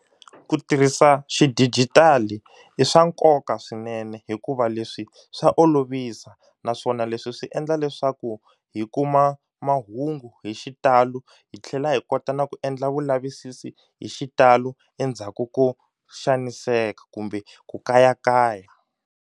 Ku tirhisa xidigitali i swa nkoka swinene hikuva leswi swa olovisa naswona leswi swi endla leswaku hi kuma mahungu hi xitalo hi tlhela hi kota na ku endla vulavisisi hi xitalo endzhaku ko xaniseka kumbe ku kayakaya.